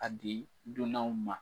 A di dunanw ma.